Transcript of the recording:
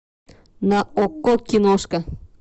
на окко киношка